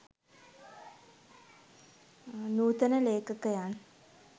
නූතන ලේඛකයන්